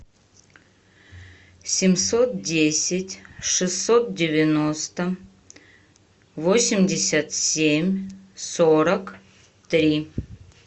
семьсот десять шестьсот девяносто восемьдесят семь сорок три